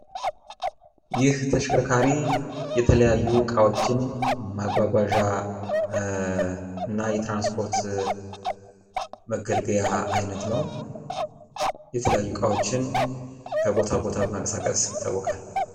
ይህ ተሽከርካሪ የተለያዩ እቃዎችን ማጓጓዣ እና የትራንስፖርት መገልገያ አይነት ነው። የተለያዩ እቃዎችን ከቦታ ቦታ በማንቀሳቀስ ይታወቃል።